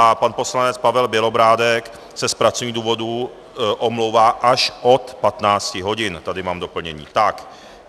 A pan poslanec Pavel Bělobrádek se z pracovních důvodů omlouvá až od 15 hodin - tady mám doplnění.